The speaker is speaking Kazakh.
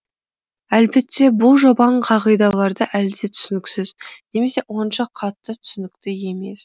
әлбетте бұл жобан қағидаларды әлде түсініксіз немесе онша қатты түсінікті емес